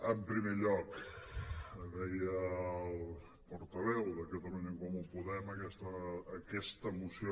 en primer lloc deia el portaveu de catalunya en comú podem aquesta moció